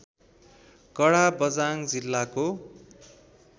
काडाँ बझाङ जिल्लाको